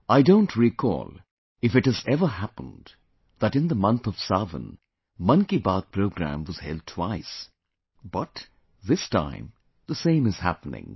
I don't recall if it has ever happened that in the month of Sawan, 'Mann Ki Baat' program was held twice, but, this time, the same is happening